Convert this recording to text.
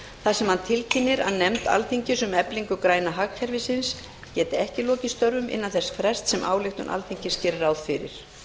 þar sem hann tilkynnir að nefnd alþingis um eflingu græna hagkerfisins geti ekki lokið störfum innan þess frests sem ályktun alþingis gerir ráð fyrir